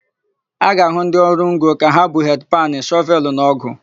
A ga-ahụ ndị ọrụ ngo ka ha bu hedị panụ, shọvelụ na ọ́gụ̀.